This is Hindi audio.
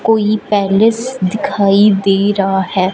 कोई पैलेस दिखाई दे रहा है।